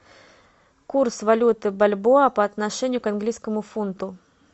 курс валюты бальбоа по отношению к английскому фунту